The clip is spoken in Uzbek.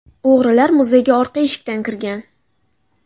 O‘g‘rilar muzeyga orqa eshikdan kirgan.